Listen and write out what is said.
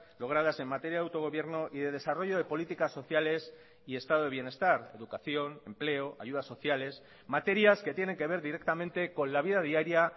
logradas en materia de autogobierno y de desarrollo de políticas sociales y estado de bienestar educación empleo ayudas sociales materias que tienen que ver directamente con la vida diaria